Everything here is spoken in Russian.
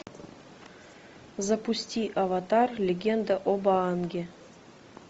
запусти аватар легенда об аанге